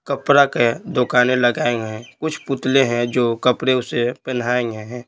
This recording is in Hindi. कपड़ा के दोकाने लगाए हैं कुछ पुतले हैं जो कपड़े उसे पहनाए है।